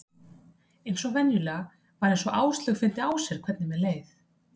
Eins og venjulega var eins og Áslaug fyndi á sér hvernig mér leið.